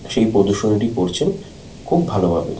সেই প্রদর্শনীটি করছেন খুব ভালো ভাবে।